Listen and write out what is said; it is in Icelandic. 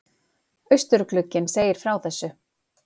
Austurglugginn segir frá þessu